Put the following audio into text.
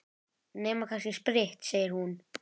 Nema kannski spritt, segir hún.